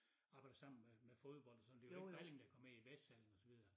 Arbejder sammen med med fodbold og sådan det jo ikke Balling der kom med i vestsalling og så videre